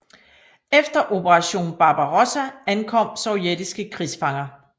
Efter Operation Barbarossa ankom sovjetiske krigsfanger